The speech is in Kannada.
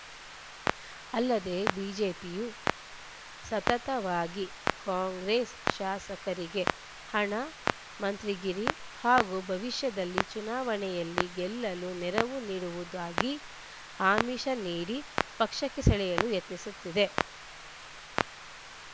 ಅಲ್ಲದೆ ಬಿಜೆಪಿಯು ಸತತವಾಗಿ ಕಾಂಗ್ರೆಸ್‌ ಶಾಸಕರಿಗೆ ಹಣ ಮಂತ್ರಿಗಿರಿ ಹಾಗೂ ಭವಿಷ್ಯದಲ್ಲಿ ಚುನಾವಣೆಯಲ್ಲಿ ಗೆಲ್ಲಲು ನೆರವು ನೀಡುವುದಾಗಿ ಆಮಿಷ ನೀಡಿ ಪಕ್ಷಕ್ಕೆ ಸೆಳೆಯಲು ಯತ್ನಿಸುತ್ತಿದೆ